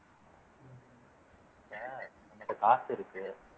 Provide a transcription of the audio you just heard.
இப்ப என்கிட்ட காசு இருக்கு